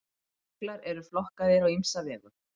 jöklar eru flokkaðir á ýmsa vegu